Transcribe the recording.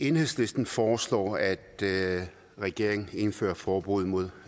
enhedslisten foreslår at regeringen indfører forbud mod